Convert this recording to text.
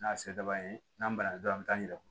N'a se daba ye n'an ban na dɔrɔn an bi taa ɲina